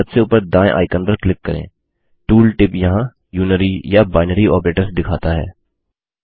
चलिए सबसे ऊपर दायें आइकन पर क्लिक करें टूल टिप यहाँ यूनरी या बाइनरी ऑपरेटर्स दिखाता है